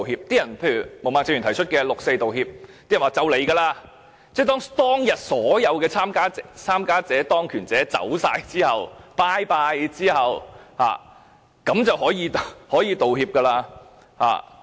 毛孟靜議員剛才談到的六四道歉，大家都說快要來了，當所有參與事件的人民和當權者離開後，便可以道歉了。